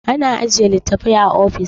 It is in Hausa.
ana ajiye litattafai a ofis